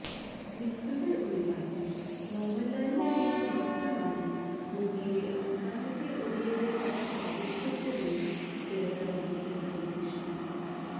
മിത്തുകള് ഒഴിവാക്കി മോഹന്ലാലിനു വേണ്ടി മാത്രമാണ് ഭൂമിയിലെ അവസാനത്തെ ഒടിയന്റെ കഥ ആവിഷ്കരിച്ചതെന്ന് തിരക്കഥാകൃത്ത് ഹരി കൃഷ്ണന്